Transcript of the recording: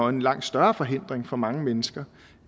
en langt større forhindring for mange mennesker